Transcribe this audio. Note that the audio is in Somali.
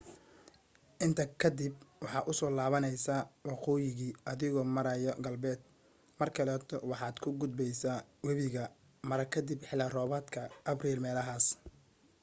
intaa kadib waxaa usoo laabneysa waqooyiga adigo maryaa galbeed mar kaleeto waxaad ka gudbeysa wabiga mara kadib xili roobadka abriil meelahas